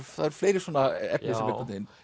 fleiri svona efni sem einhvern veginn